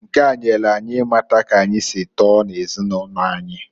Nke a nyelu anyị ịmata k'anyi si tọọ n'ezinụlọ anyi.